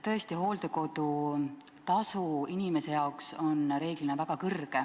Tõesti, hooldekodutasu on inimese jaoks reeglina väga kõrge.